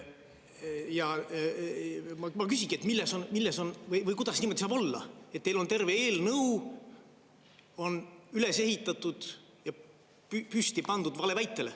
Ja ma küsingi, et milles on või kuidas niimoodi saab olla, et teil on terve eelnõu üles ehitatud ja püsti pandud valeväitele.